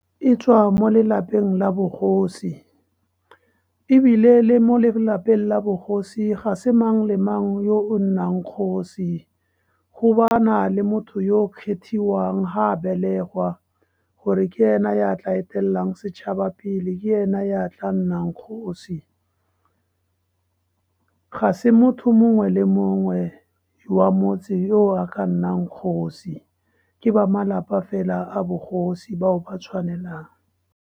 E tswa mo lelapeng la bogosi, ebile le mo lelapeng la bogosi ga se mang le mang yo o nnang kgosi. Go ba na le motho yo o kgethiwang, ga a belegwa gore ke ena ya tlang fetelang setšhaba pele, ke ena ya tla nnang kgosi. Ga se motho mongwe le mongwe wa motse o a ka nnang kgosi, ke ba malapa fela a bogosi bao ba tshwanelang.